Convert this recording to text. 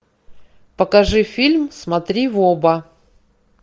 покажи фильм смотри в оба